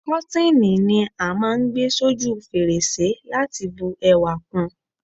Kọ́tíni ni á máà ń gbé s'óju fèrèsé láti bu ẹwà kun